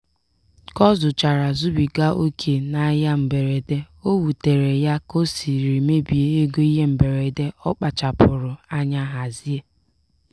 ka ọ zụchara zubiga oke n'ahịa mberede o wutere ya ka o siri mebie ego ihe mberede ọ kpachapụrụ anya hazie.